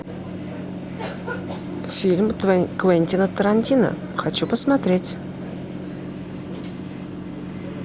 фильм квентина тарантино хочу посмотреть